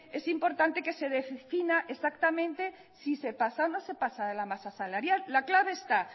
es importante que se defina exactamente si se pasa o no se pasa de la masa salarial la clave está